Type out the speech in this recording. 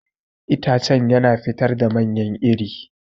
Itacen yana fitar da manyan iri.